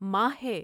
ماہ ہے ۔